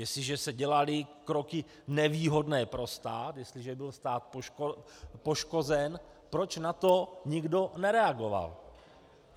Jestliže se dělaly kroky nevýhodné pro stát, jestliže byl stát poškozen, proč na to nikdo nereagoval?